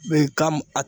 Mɛ ka